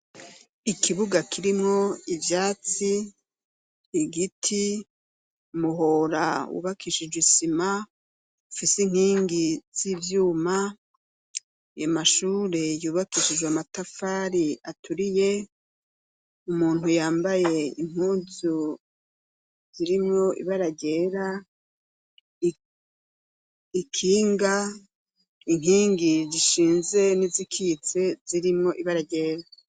Ikibuga kirimwo ivyatsi, igiti umuhora wubakishijwe isima ufise inkingi z'ivyuma, amashure yubakishijwe amatafari aturiye umuntu yambaye impuzu zirimwo ibara ryera ikinga inkingi zishinze n'izikitse zirimwo ibara ryera.